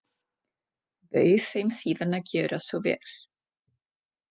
Bauð þeim síðan að gjöra svo vel.